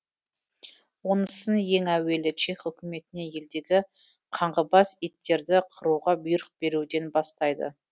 онысын ең әуелі чех үкіметіне елдегі қаңғыбас иттерді қыруға бұйрық беруден бастайды